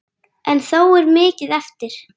En þó er mikið eftir.